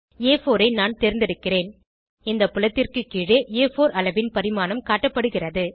ஆ4 ஐ நான் தேர்ந்தெடுக்கிறேன் இந்த புலத்திற்கு கீழே ஆ4 அளவின் பரிமாணம் காட்டப்படுகிறது